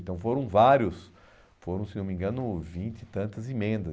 Então foram vários, foram, se não me engano, vinte e tantas emendas.